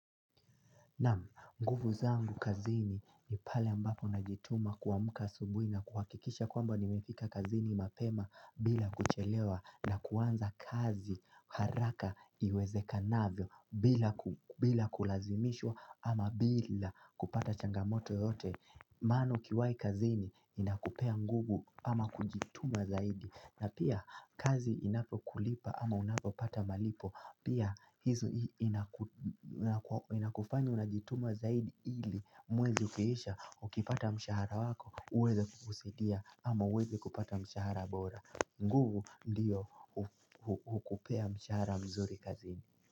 Naam, nguvu zangu kazini ni pale ambapo najituma kuamuka asubuhi na kuhakikisha kwamba nimefika kazini mapema bila kuchelewa na kuanza kazi haraka iweze kanavyo bila kulazimishwa ama bila kupata changamoto yoyote. Maano ukiwai kazini inakupea nguvu ama kujituma zaidi na pia kazi inapo kulipa ama unapo pata malipo Pia hizo inakufanya unajituma zaidi ili mwezi ukiisha Ukipata mshahara wako uweza kukusadia ama uweze kupata mshahara bora nguvu ndiyo hukupea mshahara mzuri kazini.